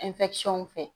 fɛ